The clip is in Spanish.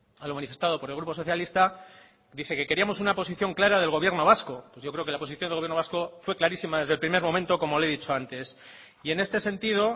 a lo manifestado por el grupo socialista dice que queríamos una posición clara del gobierno vasco pues yo creo que la posición del gobierno vasco fue clarísima desde el primer momento como le he dicho antes y en este sentido